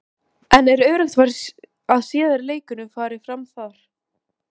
En er öruggt að síðari leikurinn fari fram þar?